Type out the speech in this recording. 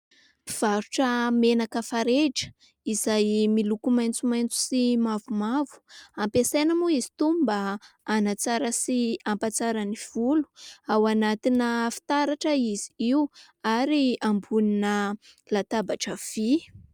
Mpivarotra menaka farehitra izay miloko maitsomaitso sy mavomavo ampiasaina moa izy itony mba hanatsara sy hampatsara ny volo ao anatina fitaratra izy io ary ambonina latabatra vy.